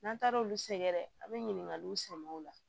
N'an taar'olu sɛgɛrɛ a bɛ ɲininkaliw sɛmɛ u la